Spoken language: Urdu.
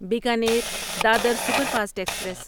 Bikaner Dadar superfast express